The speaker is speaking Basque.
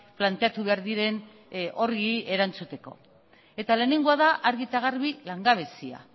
planteatu behar diren horri erantzuteko eta lehenengoa da argi eta garbi langabezia